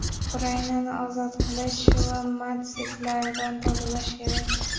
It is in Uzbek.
Ukrainani ozod qilish va natsistlardan tozalash kerak.